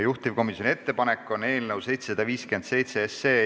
Juhtivkomisjoni ettepanek on eelnõu 757 esimene lugemine lõpetada.